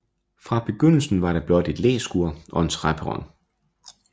Fra begyndelsen var der blot et læskur og en træperron